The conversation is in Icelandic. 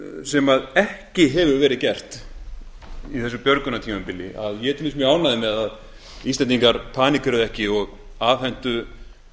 sem ekki hefur verið gert á þessu björgunartímabili ég er til dæmis mjög ánægður með að íslendingar panikkeruðu ekki og afhentu